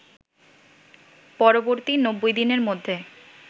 পরবর্তী ৯০ দিনের মধ্যে